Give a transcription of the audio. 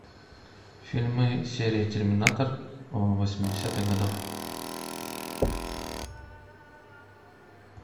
фильмы серии терминатор восьмидесятых годов